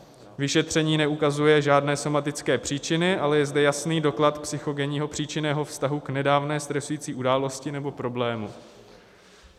Vyšetření neukazuje žádné somatické příčiny, ale je zde jasný doklad psychogenního příčinného vztahu k nedávné stresující události nebo problému.